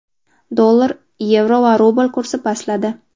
Dollar, yevro va rubl kursi pastladi.